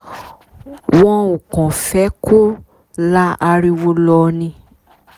wọn ò kàn fẹ́ kó la ariwo lọ ni